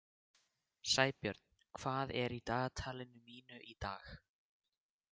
Sæbjörn, hvað er í dagatalinu mínu í dag?